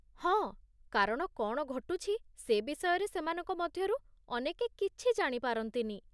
ହଁ, କାରଣ କ'ଣ ଘଟୁଛି ସେ ବିଷୟରେ ସେମାନଙ୍କ ମଧ୍ୟରୁ ଅନେକେ କିଛି ଜାଣିପାରନ୍ତିନି।